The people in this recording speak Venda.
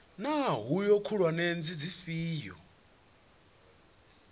naa hoea khulwane ndi dzifhio